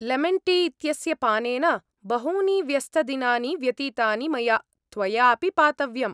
Lemon tea इत्यस्य पानेन बहूनि व्यस्तदिनानि व्यतीतानि मया, त्वया अपि पातव्यम्।